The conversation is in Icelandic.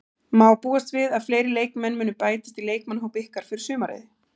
Má búast við að fleiri leikmenn muni bætast í leikmannahóp ykkar fyrir sumarið?